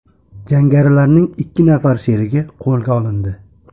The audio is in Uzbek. Jangarilarning ikki nafar sherigi qo‘lga olindi.